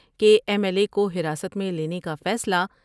کہ M L A کو حراست میں لینے کا فیصلہ